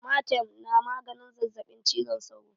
Amatem na maganin zazzaɓin cizon sauro